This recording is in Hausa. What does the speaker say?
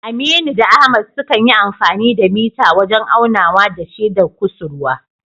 Aminu da Ahmad sukan yi amfani da mita wajen aunawa da shedar kusurwa